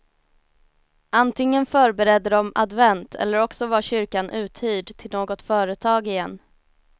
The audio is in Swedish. Antingen förberedde de advent eller också var kyrkan uthyrd till något företag igen.